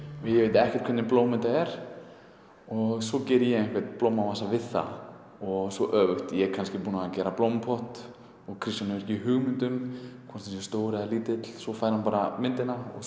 ég veit ekkert hvernig blóm þetta er og svo geri ég einhvern blómavasa við það og svo öfugt ég er kannski búinn að gera blómapott og Kristján hefur ekki hugmynd um hvort hann sé stór eða lítill svo fær hann bara myndina og